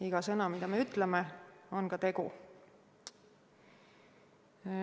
Iga sõna, mida me ütleme, on ka tegu.